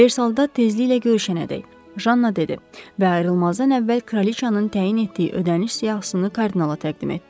Versalda tezliklə görüşənədək, Janna dedi və ayrılmazdan əvvəl Kraliçanın təyin etdiyi ödəniş siyahısını Kardinala təqdim etdi.